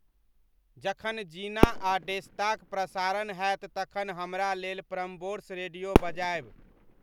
जखन जिना अउर डेस्ता क प्रसारण हैत तखन हमरा लेल प्रम्बोर्स रेडियो बजाइब